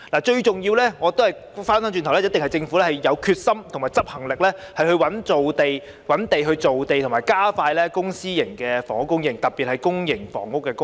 最重要的一點，一定是政府必須有決心和執行力，覓地造地和加快公私營房屋供應，特別是公營房屋的供應。